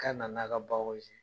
Ka na n'a ka